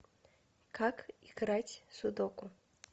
как играть в судоку